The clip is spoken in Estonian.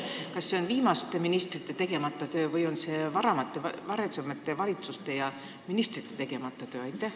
Kas see on viimaste ministrite tegemata töö või on see varasemate valitsuste ja ministrite tegemata töö?